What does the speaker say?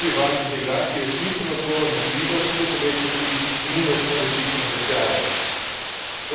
Mislim, da je ta novi val integracije smiseln odgovor na krizo, ki bo povečal tudi imunost na različne tresljaje.